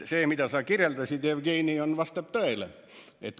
See, mida sa kirjeldasid, Jevgeni, vastab tõele.